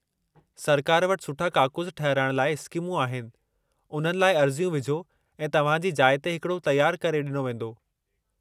सरकार वटि सुठा काकूस ठहिराइण लाइ स्कीमूं आहिनि, उन्हनि लाइ अर्ज़ियूं विझो ऐं तव्हां जी जाइ ते हिकड़ो तयारु करे डि॒नो वेंदो.